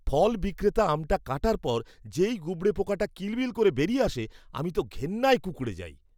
ফল বিক্রেতা আমটা কাটার পর যেই গুবড়ে পোকাটা কিলবিল করে বেরিয়ে আসে, আমি তো ঘেন্নায় কুঁকড়ে যাই।